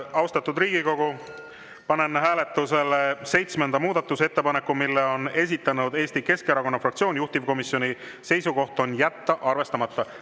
Austatud Riigikogu, panen hääletusele seitsmenda muudatusettepaneku, mille on esitanud Eesti Keskerakonna fraktsioon, juhtivkomisjoni seisukoht on jätta arvestamata.